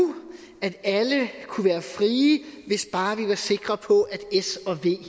at alle kunne være frie hvis bare vi var sikre på at s og v